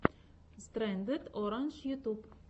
стрэндед орандж ютьюб